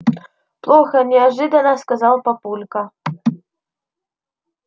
плохо неожиданно сказал папулька